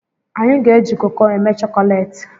Anyị ga-eji koko eme chokolati